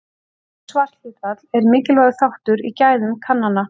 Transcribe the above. Hátt svarhlutfall er mikilvægur þáttur í gæðum kannana.